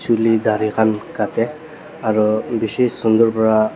chuli dari khan katae aro bishi sunder pra.